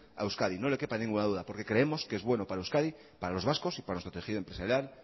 a euskadi no le quepa ninguna duda porque creemos que es bueno para euskadi para los vascos y para nuestro tejido empresarial